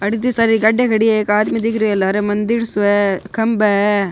अठे इति सारी गाडियां खड़ी है एक आदमी दिख रियो है लारे मन्दिर सो है खंबा है।